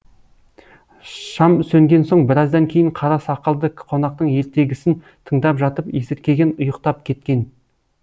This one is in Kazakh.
шам сөнген соң біраздан кейін қара сақалды қонақтың ертегісін тыңдап жатып есіркеген ұйықтап кеткен